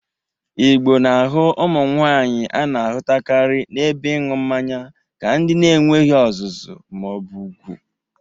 Igbo na-ahụ ụmụ nwaanyị a na-ahụtakarị n'ebe ịṅụ mmanya ka ndị na-enweghi ọzụzụ ma ọ bụ ugwu.